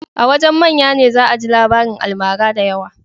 A wajen manya ne za a ji labarin almara da yawa